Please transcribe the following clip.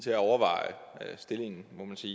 til at overveje stillingen må man sige